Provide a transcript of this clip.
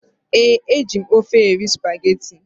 Ee, e ji m ofe eri spageti.